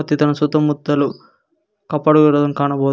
ಇದನ ಸುತ್ತ ಮುತ್ತಲು ಕಪಾಟು ಇಡುದನ್ನು ಕಾಣಬಹುದು.